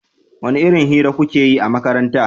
wani irin hira kukeyi a makaranta?